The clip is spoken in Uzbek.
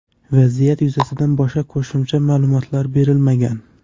Vaziyat yuzasidan boshqa qo‘shimcha ma’lumotlar berilmagan.